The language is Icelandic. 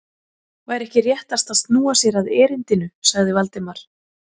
Væri ekki réttast að snúa sér að erindinu? sagði Valdimar.